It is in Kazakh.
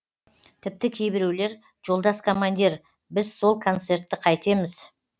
тіпті кейбіреулер жолдас командир біз сол концертті қайтеміз